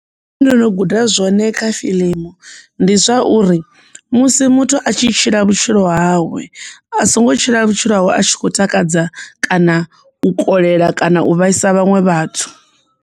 Ndo no guda zwone kha fiḽimu ndi zwauri musi muthu a tshi tshila vhutshilo hawe a songo tshila vhutshilo hawe a tshi khou takadza kana u kolela kana u vhaisa vhaṅwe vhathu.